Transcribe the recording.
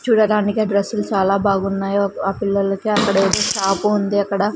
చూడటానికి ఆ డ్రస్సులు చాలా బాగున్నాయి ఆ పిల్లోళ్ళకి అక్కడ ఏదో షాపు ఉంది అక్కడ.